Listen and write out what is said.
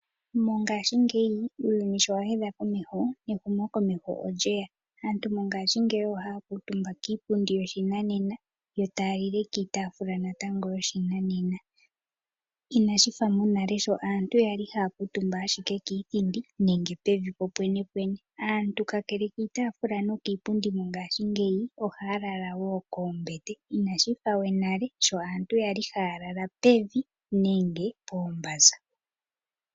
Mongaashi ngeyi uuyuni shi wahedha komeho nehumo komeho olyeya, aantu mongaashi ngeyi ohakutumba kiipundi yoshinanena yotaalile natango kiitafula yoshinanena. Inashifa mo nale shi aantu yali haakutumba kiithindi nenge pevi po pwene pwene, kakele kiipundi niitafula yo ngaashi ngeyi, aantu ohaa lala woo koombete inashifa nale sho aantu yali haalala pevi nenge poombanza.